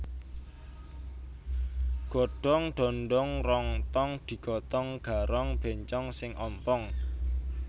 Godong dondong rong tong digotong garong bencong sing ompong